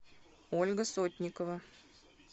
ольга сотникова